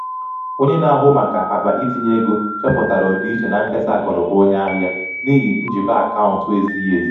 onye na-ahụ maka akpa itinye ego chọpụtara ọdịiche na nkesa akụnụba onye ahịa n’ihi um njikọ akaụntụ ezighi ezi.